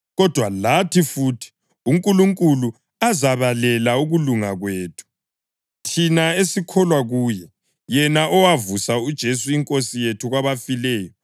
kodwa lathi futhi, uNkulunkulu azabalela ukulunga kwethu, thina esikholwa kuye, yena owavusa uJesu iNkosi yethu kwabafileyo.